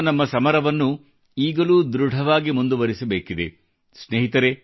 corona ವಿರುದ್ಧದ ನಮ್ಮ ಸಮರವನ್ನು ಈಗಲೂ ಧೃಡವಾಗಿ ಮುಂದುವರಿಸಬೇಕಿದೆ